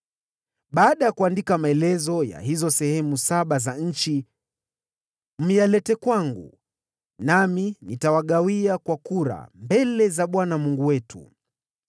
Baada ya kuandika maelezo ya hizo sehemu saba za nchi, yaleteni kwangu, nami nitawapigia kura kwa kura mbele za Bwana Mungu wetu.